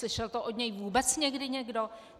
Slyšel to od něj vůbec někdy někdo?